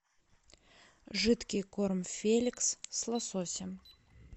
жидкий корм феликс с лососем